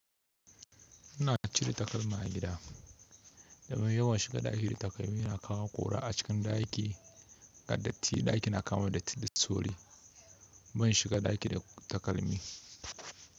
Ina cire takalma a gida domin yawan shiga ɗaki da takalmi yana kawo ƙura a cikin ɗaki. Ƙaddafi ɗaki na kawo datti da tsoro. Ban shiga ɗaki da takalmi.